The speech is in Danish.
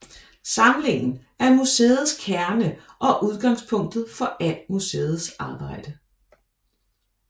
Samlingen er museets kerne og udgangspunktet for al museets arbejde